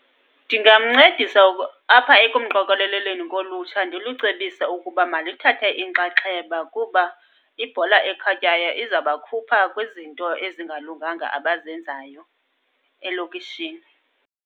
Ndingamncedisa apha ekumqokeleleni kolutsha, ndilucebise ukuba malithathe inxaxheba kuba ibhola ekhatywayo izabakhupha kwizinto ezingalunganga abazenzayo elokishini.